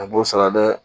A b'o sara dɛ